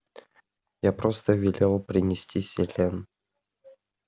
я просто велел принести селен